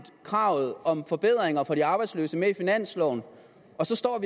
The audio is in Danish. kravet om forbedringer for de arbejdsløse med i finansloven og så